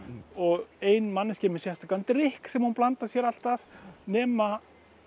og ein manneskja er með sérstakan drykk sem hún blandar sér alltaf nema